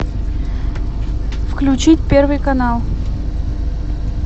включить первый канал